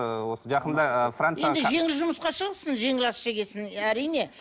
ы осы жақында енді жеңіл жұмысқа шығыпсың жеңіл ас жеген соң әрине